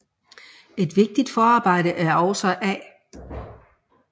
Et vigtigt forarbejde er også A